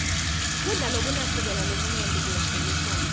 kudla lokunashukela lomunyenti koyagulisana